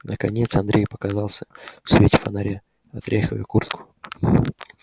наконец андрей показался в свете фонаря отряхивая куртку